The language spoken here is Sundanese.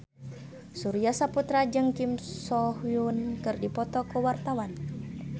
Surya Saputra jeung Kim So Hyun keur dipoto ku wartawan